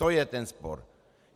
To je ten spor.